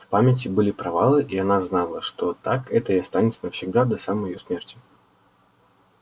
в памяти были провалы и она знала что так это и останется навсегда до самой её смерти